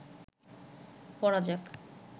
পড়া যাক